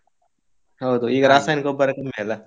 ಹೌದು, ಈಗ ರಾಸಾಯನಿಕ ಗೊಬ್ಬರ ಕಮ್ಮಿ ಅಲ್ಲ?